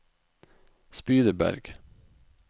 Spydeberg